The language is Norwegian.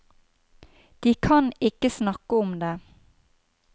De kan ikke snakke om det.